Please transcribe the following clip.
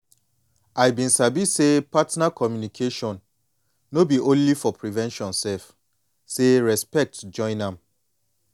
i been sabi say partner communication no be only for prevention sef say respect join am